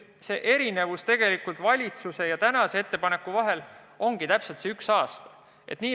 Erinevus valitsuse plaani ja tänase ettepaneku vahel seisnebki täpselt ühes aastas.